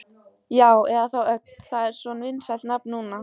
Já, eða þá Ögn, það er svo vinsælt nafn núna.